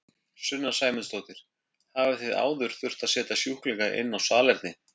Sunna Sæmundsdóttir: Hafið þið áður þurft að setja sjúklinga inn á salerni?